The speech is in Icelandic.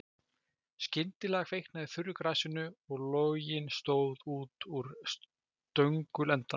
Skyndilega kviknaði í þurru grasinu og loginn stóð út úr stöngulendanum.